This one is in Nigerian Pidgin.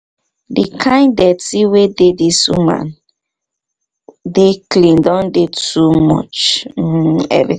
the kind dirty wey dey where this woman dey clean don dey too much um every